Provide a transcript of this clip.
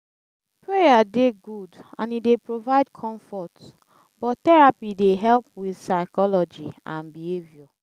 prayer dey good and e dey provide comfort but therapy dey help with psychology and behaviour